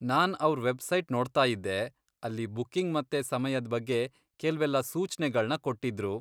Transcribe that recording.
ನಾನ್ ಅವ್ರ್ ವೆಬ್ಸೈಟ್ ನೋಡ್ತಾಯಿದ್ದೆ, ಅಲ್ಲಿ ಬುಕ್ಕಿಂಗ್ ಮತ್ತೆ ಸಮಯದ್ ಬಗ್ಗೆ ಕೆಲ್ವೆಲ್ಲ ಸೂಚ್ನೆಗಳ್ನ ಕೊಟ್ಟಿದ್ರು.